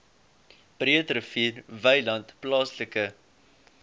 breederivier wynland plaaslike